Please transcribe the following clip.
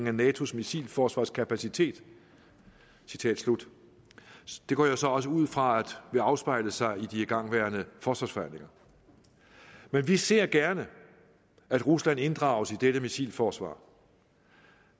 af natos missilforsvarskapacitet citat slut det går jeg så også ud fra vil afspejle sig i de igangværende forsvarsforhandlinger men vi ser gerne at rusland inddrages i dette missilforsvar